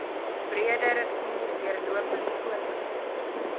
breederivier deurlopend voortgesit